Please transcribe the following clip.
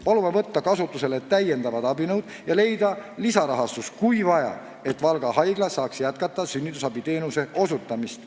Palume võtta kasutusele täiendavad abinõud ja leida lisarahastus, kui vaja, et Valga Haigla saaks jätkata sünnitusabiteenuse osutamist.